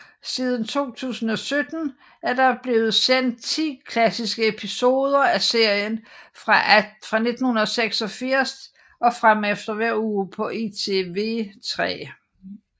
Siden 2017 er der blevet sendt 10 klassiske episoder af serien fra 1986 og fremefter hver uge på ITV3